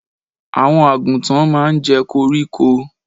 Àwọn àgùntàn máa ń jẹ́ koríko.